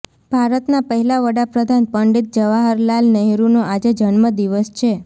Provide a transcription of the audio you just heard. ભારતના પહેલા વડાપ્રધાન પંડિત જવાહર લાલ નહેરુનો આજે જન્મ દિવસ છે